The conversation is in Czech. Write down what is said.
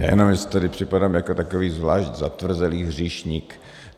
Já jenom, že si tady připadám jako takový zvlášť zatvrzelý hříšník.